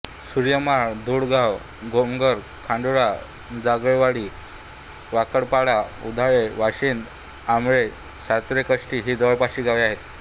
सुर्यमाळ धुडगाव गोमघर खोडाळा जोगळवाडी वाकडपाडा उधाळे वाशिंद आमाळे सावर्डेकाष्टी ही जवळपासची गावे आहेत